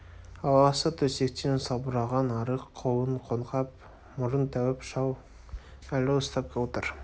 аласа төсектен салбыраған арық қолын қоңқақ мұрын тәуіп шал әлі ұстап отыр